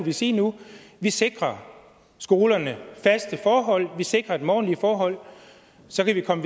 vi sige nu vi sikrer skolerne faste forhold vi sikrer dem ordentlige forhold så kan vi komme